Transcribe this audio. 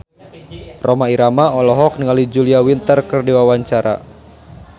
Rhoma Irama olohok ningali Julia Winter keur diwawancara